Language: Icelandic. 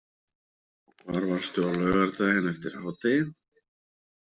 Og hvar varstu á laugardaginn eftir hádegi?